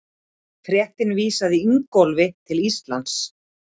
Fréttin vísaði Ingólfi til Íslands.